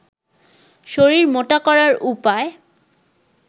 শরীর মোটা করার উপায়